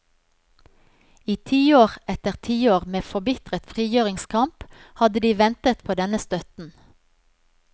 I tiår etter tiår med forbitret frigjøringskamp hadde de ventet på denne støtten.